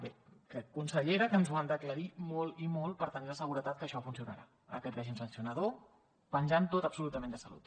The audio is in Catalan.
bé crec consellera que ens ho han d’aclarir molt i molt per tenir la seguretat que això funcionarà aquest règim sancionador penjant tot absolutament de salut